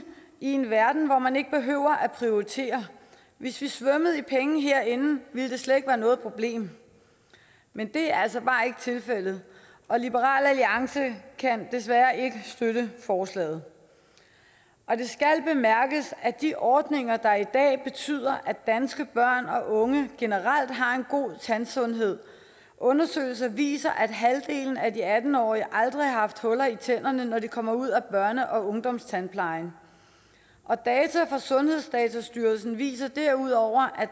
i en verden hvor man ikke behøver at prioritere hvis vi svømmede i penge herinde ville det slet ikke være noget problem men det er altså bare ikke tilfældet og liberal alliance kan desværre ikke støtte forslaget det skal bemærkes at de ordninger har i dag betyder at danske børn og unge generelt har en god tandsundhed undersøgelser viser at halvdelen af de atten årige aldrig har haft huller i tænderne når de kommer ud af børne og ungdomstandplejen og data fra sundhedsdatastyrelsen viser derudover at